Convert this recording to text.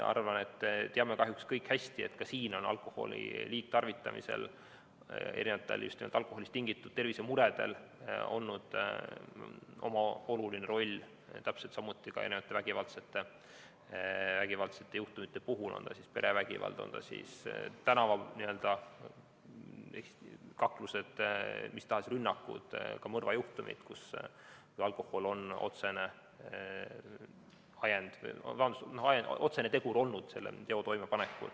Arvan, et teame kahjuks kõik hästi, et ka siin on alkoholi liigtarvitamisel ja just alkoholist tingitud tervisemuredel olnud oma oluline roll, täpselt samuti vägivallajuhtumite puhul, on see siis perevägivald, on need tänavakaklused või mis tahes rünnakud, ka mõrvajuhtumid, kus alkohol on olnud otsene tegur teo toimepanekul.